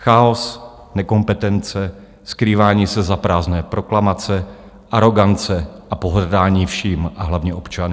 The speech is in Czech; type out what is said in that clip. Chaos, nekompetence, skrývání se za prázdné proklamace, arogance a pohrdání vším a hlavně občany.